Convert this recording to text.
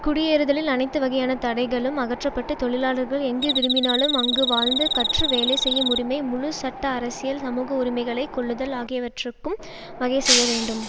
குடியேறுதலில் அனைத்துவகையான தடைகளும் அகற்ற பட்டு தொழிலாளர்கள் எங்கு விரும்பினாலும் அங்கு வாழ்ந்து கற்று வேலை செய்யும் உரிமை முழு சட்ட அரசியல் சமூக உரிமைகளை கொள்ளுதல் ஆகியவற்றுக்கும் வகை செய்ய வேண்டும்